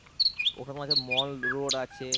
ওর মাঝে mall road আছে,